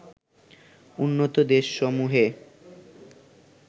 উন্নত দেশসমূহে